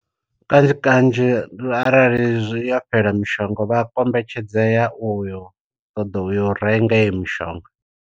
Kanzhi kanzhi arali yo fhela mishonga vha kombetshedzea uyo ṱoḓa u yo renga iyo mishonga.